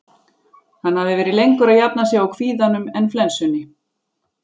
Hann hafði verið lengur að jafna sig á kvíðanum en flensunni.